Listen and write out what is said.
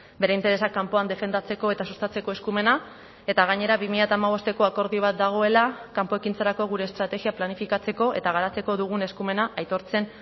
bere interesak kanpoan defendatzeko eta sustatzeko eskumena eta gainera bi mila hamabosteko akordio bat dagoela kanpo ekintzarako gure estrategia planifikatzeko eta garatzeko dugun eskumena aitortzen